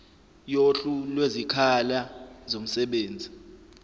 yohlu lwezikhala zomsebenzi